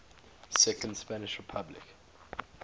second spanish republic